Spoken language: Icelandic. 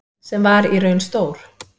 Sem var í raun stór